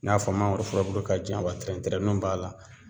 N y'a fɔ mangoro furabulu ka jan wa ninw b'a la